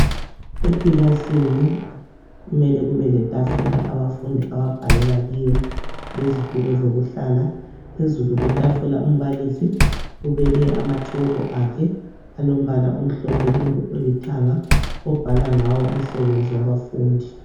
Ekilasini kumele kube letafula abafundi ababhalela kiyo lezitulo zokuhlala. Phezulu kwetafula umbalisi ubeke amatshoko akhe alombala omhlophe kumbe olithanga obhala ngawo umsebenzi wabafundi.